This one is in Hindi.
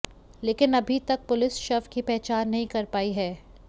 लेकिन अभी तक पुलिस शव की पहचान नहीं कर पाई है